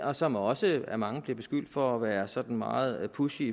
og som også af mange bliver beskyldt for at være sådan meget pushy